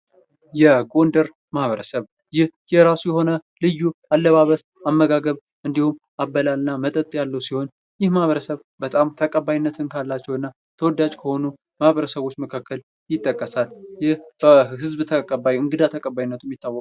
የጎንደር ማህበረሰብ ይህ የራሱ የሆነ ልዩ ያለባበስ ፣የአመጋገብ እንዲሁም አበላልና መጠጥ ያለው ሲሆን ይህ ማህበረሰብ በጣም ተቀባይነትን ካላቸው እና ተወዳጅ ከሆኑ ማህበረሰቦች መካከል ይጠቀሳል። ይህ በህዝብ ተቀባይ እንግዳ ተቀባይነቱም ይታወቃል።